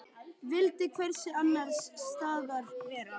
Vildi hvergi annars staðar vera.